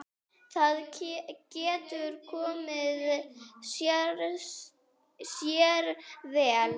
Það getur komið sér vel.